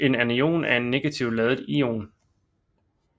En anion er en negativt ladet ion